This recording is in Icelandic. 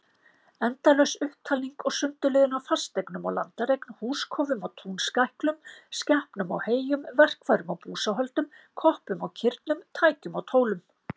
Endalaus upptalning og sundurliðun á fasteignum og landareign, húskofum og túnskæklum, skepnum og heyjum, verkfærum og búsáhöldum, koppum og kirnum, tækjum og tólum.